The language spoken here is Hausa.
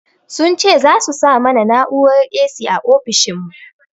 Sun ce za su sa mana na'urar 'A.C' a ofishin mu